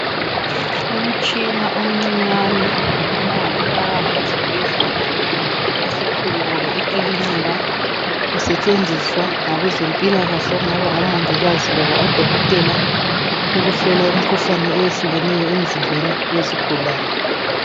Umtshina omncinyane otholakala esibhedlela esikhulu loba emakilinika usetshenziswa ngabezempilakahle okungaba ngomongikazi labodokotela ukuhlola imikhuhlane eyehlukeneyo yemzimbeni yesigulane.